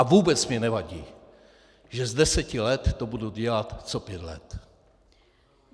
A vůbec mně nevadí, že z deseti let to budu dělat co pět let.